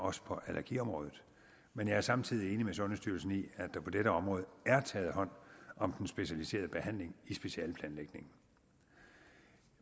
også på allergiområdet men jeg er samtidig enig med sundhedsstyrelsen i at der på dette område er taget hånd om den specialiserede behandling i specialeplanlægningen